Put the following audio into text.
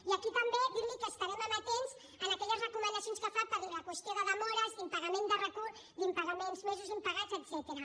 i aquí també dirli que estarem amatents a aquelles recomanacions que fa per la qüestió de demores d’impagaments mesos impagats etcètera